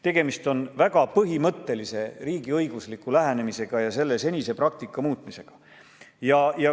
Tegemist on väga põhimõttelise riigiõigusliku lähenemisega ja senise praktika muutmisega.